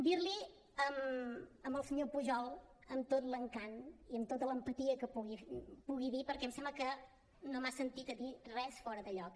dir li al senyor pujol amb tot l’encant i amb tota l’empatia que pugui dir perquè em sembla que no m’ha sentit a dir res fora de lloc